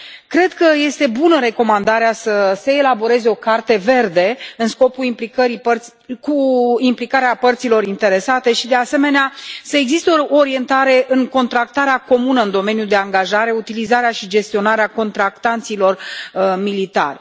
Cred că este bună recomandarea să se elaboreze o carte verde cu implicarea părților interesate și, de asemenea, să existe o orientare în contractarea comună în domeniul de angajare, utilizarea și gestionarea contractanților militari.